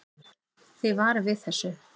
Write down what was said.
Þið varið við þessu?